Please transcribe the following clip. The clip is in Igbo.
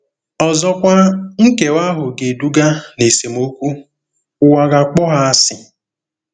Ọzọkwa, nkewa ahụ ga-eduga ná esemokwu - ụwa ga-akpọ ha asị.